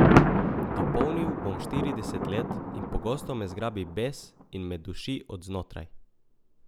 Dopolnil bom štirideset let in pogosto me zgrabi bes in me duši od znotraj.